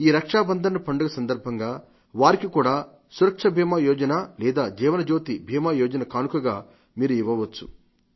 ఈ రక్షాబంధన్ పండుగ సందర్భంగా వారికి కూడా సురక్ష బీమా యోజన లేదా జీవనజ్యోతి బీమాయోజన కానుకగా మీరు ఇవ్వవచ్చు